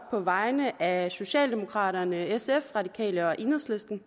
på vegne af socialdemokraterne sf radikale og enhedslisten